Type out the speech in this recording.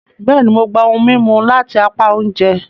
Bẹẹni, Mo gbà ohùn mímú lati apá oúnjẹ